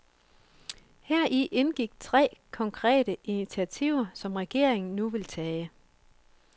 Heri indgik tre konkrete initiativer, som regeringen nu vil tage.